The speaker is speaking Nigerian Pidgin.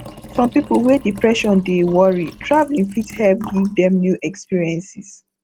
some people wey depression dey worry traveling fit help give dem new experiences